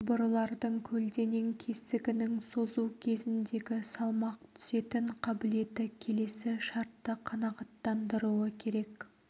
құбырлардың көлденең кесігінің созу кезіндегі салмақ түсетін қабілеті келесі шартты қанағаттандыруы керек